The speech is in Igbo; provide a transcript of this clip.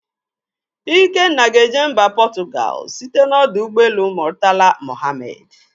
Ikenna ga-eje mba Portugal site n'ọdọ ụgbọelu Murtala Mohammed.